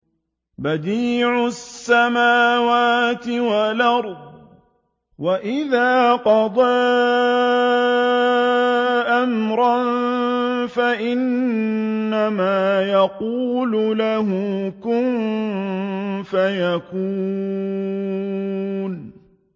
بَدِيعُ السَّمَاوَاتِ وَالْأَرْضِ ۖ وَإِذَا قَضَىٰ أَمْرًا فَإِنَّمَا يَقُولُ لَهُ كُن فَيَكُونُ